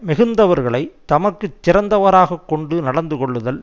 மிகுந்தவர்களை தமக்கு சிறந்தவராகக் கொண்டு நடந்து கொள்ளுதல்